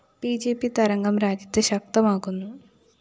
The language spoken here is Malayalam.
ബി ജെ പി തരംഗം രാജ്യത്ത് ശക്തമാകുന്നു